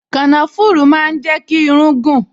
Kànáfùrù máa ń jẹ́ kí irún gùn